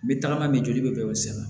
N bɛ tagama min joli bɛ o sira